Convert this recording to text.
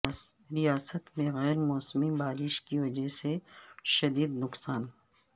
ریاست میں غیر موسمی بارش کی وجہ سے شدید نقصان